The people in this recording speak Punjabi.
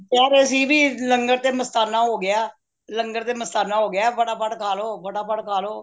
ਕਹਿ ਰੇ ਸੀ ਬਇ ਲੰਗਰ ਤੇ ਮਸਤਾਨਾ ਹੋ ਗਯਾ ਲੰਗਰ ਤੇ ਮਸਤਾਨਾ ਹੋ ਗਯਾ ਫਟਾਫਟ ਖਾਲੋ ਫਟਾਫਟ ਖਾਲੋ